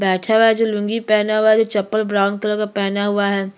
बैठा हुआ है जो लूंगी पेहना हुआ है जो चप्पल ब्राउन कलर का पेहना हुआ है।